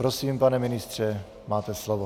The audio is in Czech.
Prosím, pane ministře, máte slovo.